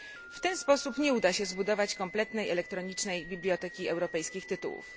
W ten sposób nie uda się zbudować kompletnej elektronicznej biblioteki europejskich tytułów.